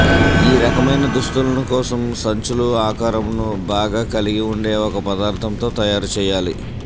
ఈ రకమైన దుస్తులను కోసం సంచులు ఆకారంను బాగా కలిగి ఉండే ఒక పదార్థంతో తయారుచేయాలి